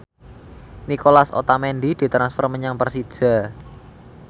Nicolas Otamendi ditransfer menyang Persija